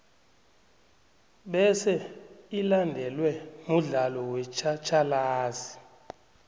bese ilandelwe mudlalo wetjhatjhalazi